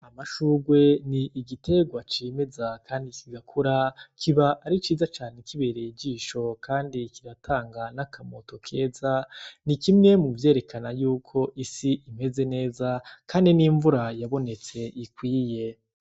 Amashurwe ni igiterwa cimeza kandi kigakura, kiba ari ciza cane kibereye ijisho kandi kigatanga n'akamoto keza ni kimwe mu vyerekana yuko isi imeze neza kandi n'imvura yabonetse ikwiye.